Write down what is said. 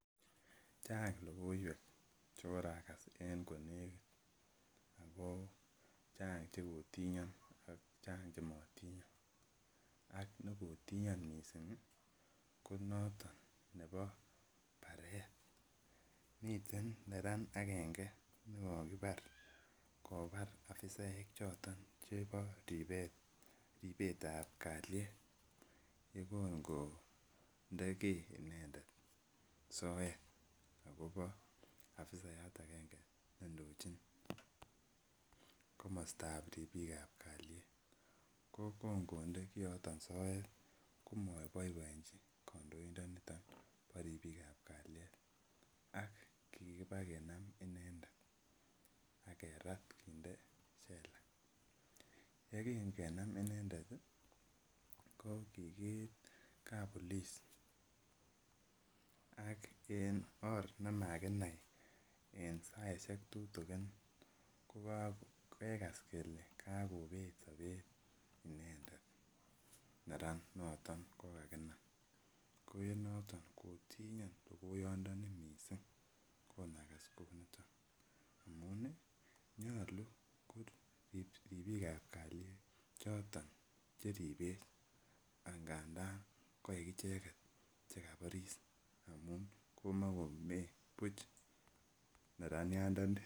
Chang logoiwek chekorakas en konekit akochanga chekotinyon ako Chang chematinyon ak nekotinyon missing koniton Nebo baret miten neran akenge nikokibar kobar afisaek choton chebo ribet ribet ab kaliet yegango inendet soet akobo akobo afisayat agenge nendochin komosta ab tebik ab kaliet kokongode kiyoton soet komabaibaenji niton ba ribik ab kaliet ak kikiba kenam inendet agerat kinde cell yekingenam inendet kikiit kabolis ak en or nemayaa ak en saishek tutikin koksikas konet Sabet inendet neran noton kokakinam koenoton kotinyon logoiyat ndani konakas Kouniton nyalunkorib bik ab kaliet choton Cheribe angandan kaik icheket kabaris amun komakomee Buch neranian nfani